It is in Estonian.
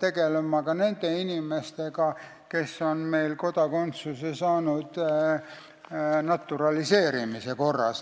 tegelema ka nende inimestega, kes on meil kodakondsuse saanud naturaliseerimise korras.